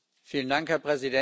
Herr Präsident!